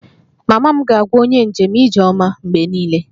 Mama m ga-agwa onye njem 'ijeoma' mgbe niile